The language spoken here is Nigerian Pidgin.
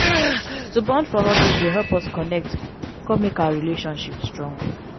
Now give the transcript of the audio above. to bond for hobbies dey help us connect come make our relationships strong.